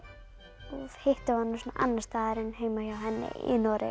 hittum við hana annars staðar en heima hjá henni í Noregi